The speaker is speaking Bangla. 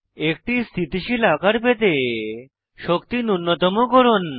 একটি স্থিতিশীল আকার পেতে শক্তি নুন্যতম করুন